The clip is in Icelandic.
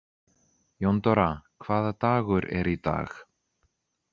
Jóndóra, hvaða dagur er í dag?